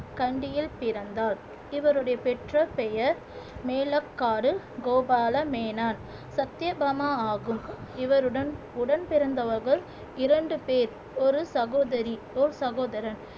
கண்டியில் பிறந்தார் இவருடைய பெற்ற பெயர் மேலக்காடு கோபால மேனான் சத்தியபாமா ஆகும் இவருடன் உடன்பிறந்தவர்கள் இரண்டு பேர் ஒரு சகோதரி ஒரு சகோதரர்